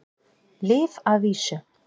Lyf að vísu.